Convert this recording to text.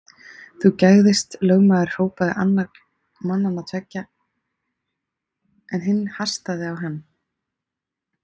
Þú gægðist, lögmaður hrópaði annar mannanna tveggja, en hinn hastaði á hann.